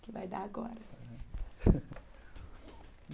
Que vai dar agora.